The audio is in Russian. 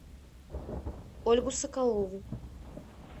ольгу соколову